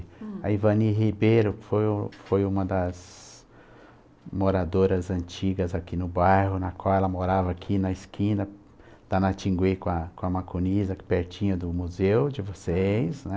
A Ivani Ribeiro que foi que foi uma das moradoras antigas aqui no bairro, na qual ela morava aqui na esquina da Natingui com a com a Macunis, aqui pertinho do museu de vocês, né?